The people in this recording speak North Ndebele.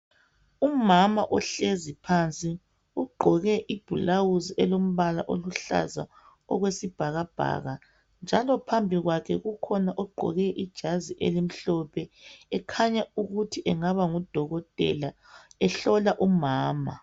Umama ohlezi phansi ugqoke ibhulawuzi elombala oluhlaza okwesibhakabhaka njalo phambi kwakhe kukhona ogqoke ijazi elimhlophe ekhanya ukuthi engaba nguDokotela ehlola umama.